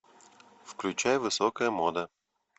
включай высокая мода